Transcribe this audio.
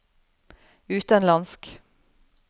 utenlandsk